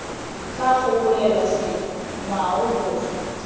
tla gopolelwa setso ngwao boswa